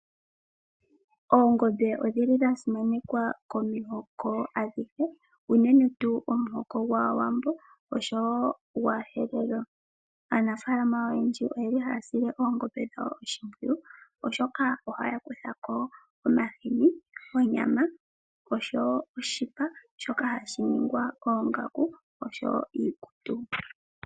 Oongombe odhili dha simanekwa komihoko adhihe uunene tuu omuhoko gwAawambo oshowo gwaaHerero. Aanafalama oyendji oyeli haasile oongombe dhawo oshimpwiyu oshoka ohaya kuthako omahini, onyama oshowo oshipa shoka hashiningwa oongaku oshowo iikutu.